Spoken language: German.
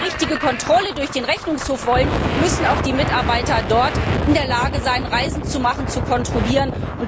Und wenn wir eine richtige Kontrolle durch den Rechnungshof wollen, müssen auch dessen Mitarbeiter in der Lage sein, Reisen zu machen, zu kontrollieren.